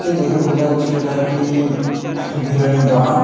দেখে বোঝা যাচ্ছে এটি একটি বিরিয়ানি দোকান।